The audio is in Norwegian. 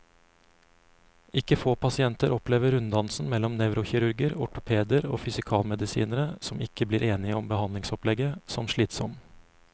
Ikke få pasienter opplever runddansen mellom nevrokirurger, ortopeder og fysikalmedisinere, som ikke blir enige om behandlingsopplegget, som slitsom.